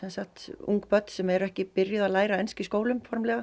ung börn sem eru ekki byrjuð að læra ensku í skólum formlega